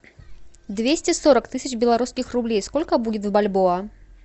двести сорок тысяч белорусских рублей сколько будет в бальбоа